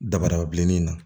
Dabada bilenni in na